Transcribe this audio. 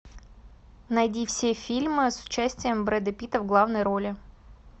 найди все фильмы с участием брэда питта в главной роли